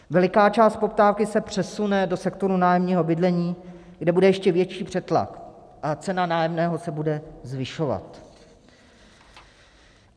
Veliká část poptávky se přesune do sektoru nájemního bydlení, kde bude ještě větší přetlak a cena nájemného se bude zvyšovat.